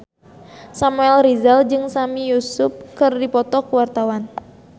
Samuel Rizal jeung Sami Yusuf keur dipoto ku wartawan